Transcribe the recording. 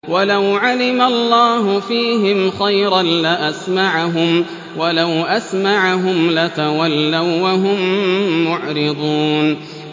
وَلَوْ عَلِمَ اللَّهُ فِيهِمْ خَيْرًا لَّأَسْمَعَهُمْ ۖ وَلَوْ أَسْمَعَهُمْ لَتَوَلَّوا وَّهُم مُّعْرِضُونَ